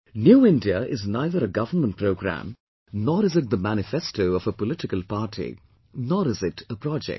'New India' is neither a government programme, nor is it the manifesto of a political party, nor is it a project